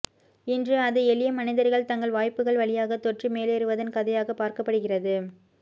இன்று அது எளிய மனிதர்கள் தங்கள் வாய்ப்புகள் வழியாக தொற்றி மேலேறுவதன் கதையாக பார்க்கப்படுகிறது